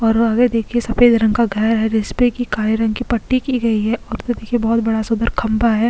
और आगे देखिए सफेद रंग का घर है जिसपे की काले रंग की पट्टी की गई है और उधर देखिए बहुत बड़ा सुंदर खंबा है।